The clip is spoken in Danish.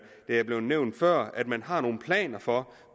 det er blevet nævnt før at man har nogle planer for